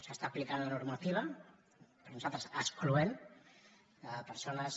s’aplica la normativa per nosaltres excloent a persones